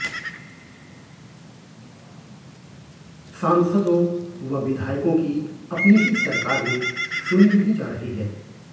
सांसदों व विधायकों की अपनी ही सरकार में सुनी नहीं जा रही है